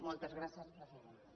moltes gràcies presidenta